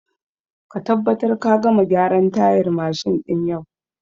Ka tabbatar da ka gama gyaran tayar mashin din yau!